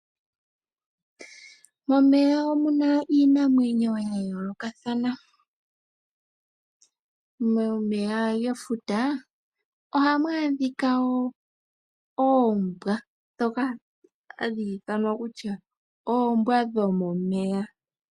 Momeya omuna iinamwenyo yayoolokathana. Momeya gefuta ohamu adhika oombwa, ndhoka hadhi ithanwa kutya oombwa dhomomeya.